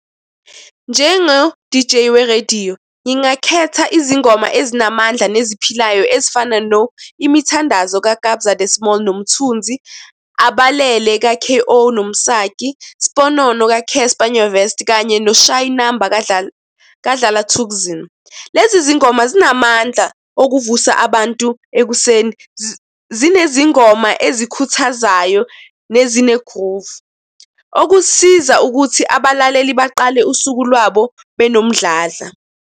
Njengo-D_J werediyo, ngingakhetha izingoma ezinamandla eziphilayo ezifana no-Imithandazo kaKabza De Small noMthunzi, Abalele ka-K_O noMsaki, Sponono ka-Casper Nyovest kanye noShayi Inumber kaDlala Thukzin. Lezi zingoma zinamandla okuvusa abantu ekuseni, zinezingoma ezikhuthazayo nezine-groove. Okusiza ukuthi abalaleli baqale usuku lwabo benomdladla.